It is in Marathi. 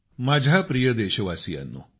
माझ्या प्रिय देशवासीयांनो